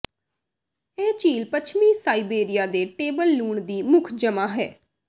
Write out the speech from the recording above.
ਇਹ ਝੀਲ ਪੱਛਮੀ ਸਾਇਬੇਰੀਆ ਦੇ ਟੇਬਲ ਲੂਣ ਦੀ ਮੁੱਖ ਜਮ੍ਹਾ ਹੈ